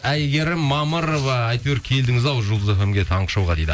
әйгерім мамырова әйтеуір келдіңіз ау жұлдыз фм ге таңғы шоуға дейді